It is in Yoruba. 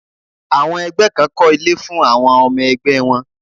Àwọn ẹgbẹ́ kan kọ́ ilé fún àwọn ọmọ ẹgbẹ́ wọn.